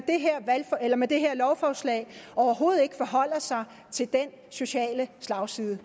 med det her lovforslag overhovedet ikke forholder sig til den sociale slagside